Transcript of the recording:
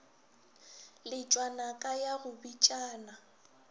letšwa naka ya go bitšana